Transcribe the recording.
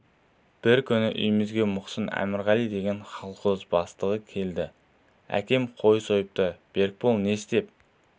бір күні үйімізге мұқсын әмірғалин деген колхоз бастығы келді әкем қой сойыпты берікбол не істеп